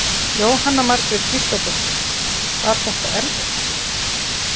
Jóhanna Margrét Gísladóttir: Var þetta erfitt?